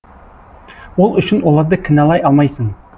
ол үшін оларды кіналай алмайсың